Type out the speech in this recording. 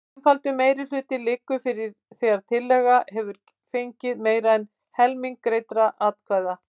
Einfaldur meirihluti liggur fyrir þegar tillaga hefur fengið meira en helming greiddra atkvæða.